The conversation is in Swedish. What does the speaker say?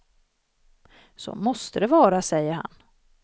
Så måste det vara, säger han.